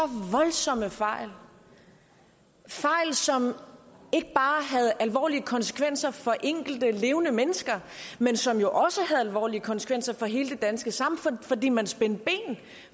voldsomme fejl fejl som ikke bare havde alvorlige konsekvenser for de enkelte levende mennesker men som jo også havde alvorlige konsekvenser for hele det danske samfund fordi man spændte ben